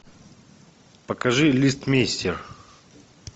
покажи листмейстер